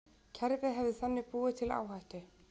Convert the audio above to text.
Kerfið hefði þannig búið til áhættu